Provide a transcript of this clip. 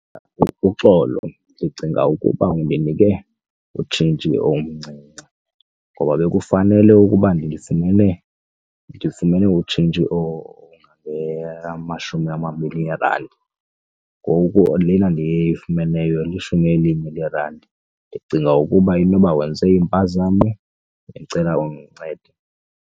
Uxolo ndicinga ukuba undinike utshintshi omncinci ngoba bekufanele ukuba ndifumene utshintshi ongamashumi amabini eerandi ngoku lena ndiyifumeneyo lishumi elinye leerandi. Ndicinga ukuba inoba wenze impazamo ndicela undincede.